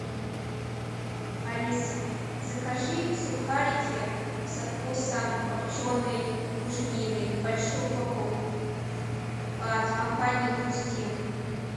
алиса закажи сухарики со вкусом копченой буженины большую упаковку от компании хрустим